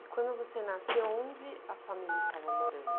E quando você nasceu, onde a família estava morando?